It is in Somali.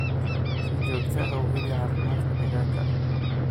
Si joogto ah u hubi caafimaadka digaagga.